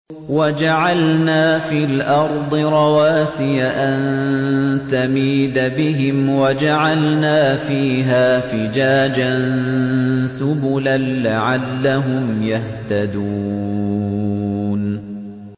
وَجَعَلْنَا فِي الْأَرْضِ رَوَاسِيَ أَن تَمِيدَ بِهِمْ وَجَعَلْنَا فِيهَا فِجَاجًا سُبُلًا لَّعَلَّهُمْ يَهْتَدُونَ